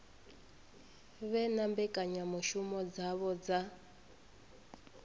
vhe na mbekanyamushumo dzavho dza